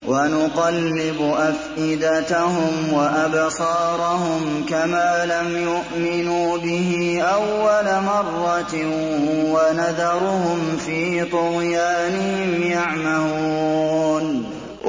وَنُقَلِّبُ أَفْئِدَتَهُمْ وَأَبْصَارَهُمْ كَمَا لَمْ يُؤْمِنُوا بِهِ أَوَّلَ مَرَّةٍ وَنَذَرُهُمْ فِي طُغْيَانِهِمْ يَعْمَهُونَ